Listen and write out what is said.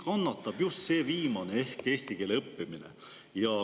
Kannatab just see viimane ehk eesti keele õppimine.